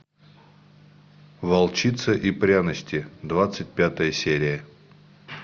волчица и пряности двадцать пятая серия